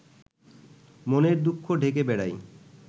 মনের দুঃখ ঢেকে বেড়াই